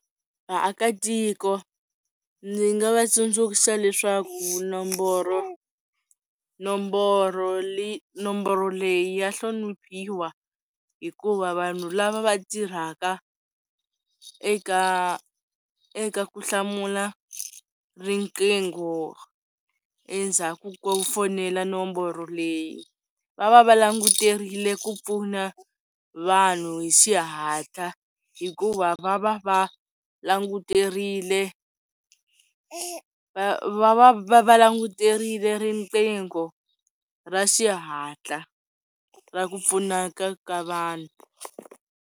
Vaakatiko ndzi nga va tsundzuxa leswaku nomboro nomboro nomboro leyi ya hloniphiwa hikuva vanhu lava va tirhaka eka eka ku hlamula riqingho endzhaku ko fonela nomboro leyi va va va languterile ku pfuna vanhu hi xihatla hikuva va va va languterile va va va va languterile riqingho ra xihatla ra ku pfunaka ka vanhu.